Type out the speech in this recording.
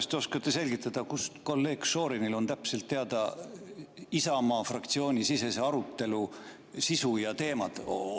Kas te oskate selgitada, kust kolleeg Šorinil on täpselt teada Isamaa fraktsiooni sisese arutelu sisu ja teemad?